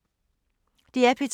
DR P2